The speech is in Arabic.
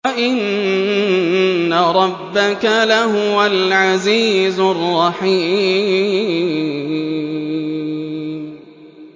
وَإِنَّ رَبَّكَ لَهُوَ الْعَزِيزُ الرَّحِيمُ